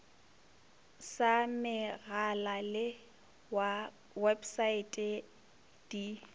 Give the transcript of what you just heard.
sa megala le websaete di